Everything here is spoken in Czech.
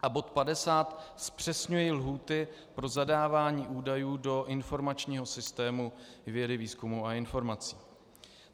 A bod 50 zpřesňuje lhůty pro zadávání údajů do informačního systému vědy, výzkumu a informací .